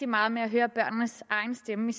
meget med at høre børnenes egen stemme